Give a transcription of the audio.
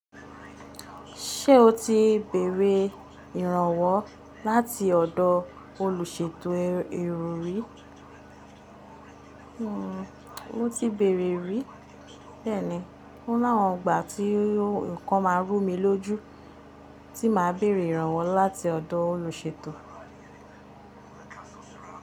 Ṣé o ti béèrè ìrànwọ́ láti ọ̀dọ̀ olùṣètò èrò rí? Hmmm, mo ti bèèrè rí. Bẹ́ẹ̀ni, ó ni awọn igbà tí nǹkan máa rú mi lójú tí màá bèèrè ìrànwọ́ láti ọ̀dọ̀ olùṣètò.